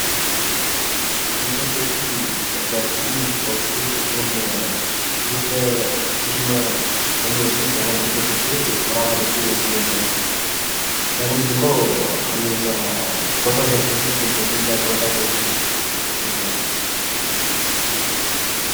Biqiltoota jechuun orgaanizimii lubbu qabu ta'ee kanneen hidda, jirma, damee fi baala darbee darbee daraaraa fi firii godhachuu danda'ani dha. Isaanis immoo adeemsa footoosenteesisii tiin kanneen nyaata mataa isaanii qopheeffachuu danda'ani dha.